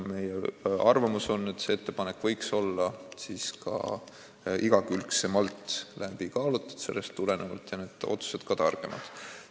Meie arvamus on, et see ettepanek võiks siis sellest tulenevalt olla mitmekülgsemalt läbi kaalutud ja otsused ka targemad.